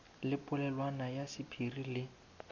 le polelwana ya sephiri le